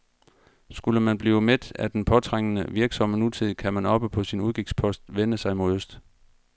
Skulle man blive mæt af den påtrængende, virksomme nutid, kan man oppe på sin udkigspost vende sig mod øst.